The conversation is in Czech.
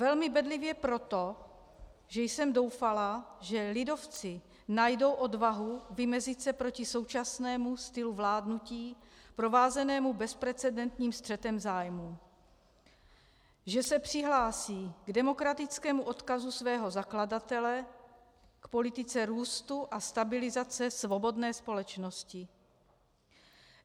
Velmi bedlivě proto, že jsem doufala, že lidovci najdou odvahu vymezit se proti současnému stylu vládnutí provázenému bezprecedentním střetem zájmů, že se přihlásí k demokratickému odkazu svého zakladatele, k politice růstu a stabilizace svobodné společnosti.